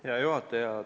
Hea juhataja!